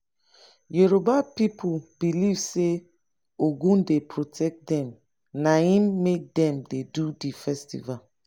yoruba pipu beliv sey ogun dey protect dem naim make dem dey do di festival.